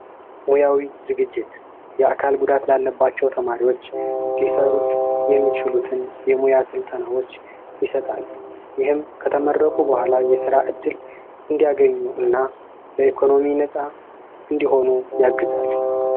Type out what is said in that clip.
ሙያዊ ዝግጅት የአካል ጉዳት ላለባቸው ተማሪዎች ሊሰሩት የሚችሉትን ፈተናዎች ይሰጣል ይህም ከተመረቁ በኋላ የስራ እድል እንዲያገኙና በኢኮኖሚ ነፃ እንዲሆኑ ያግዛል።